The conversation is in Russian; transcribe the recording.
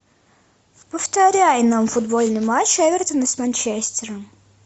повторяй нам футбольный матч эвертона с манчестером